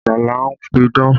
Ajala ń pidán